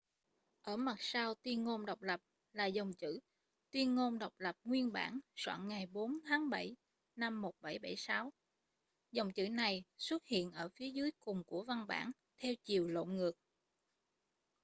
ở mặt sau tuyên ngôn độc lập là dòng chữ tuyên ngôn độc lập nguyên bản soạn ngày 4 tháng bảy năm 1776 dòng chữ này xuất hiện ở phía dưới cùng của văn bản theo chiều lộn ngược